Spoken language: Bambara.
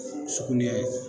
sugunɛ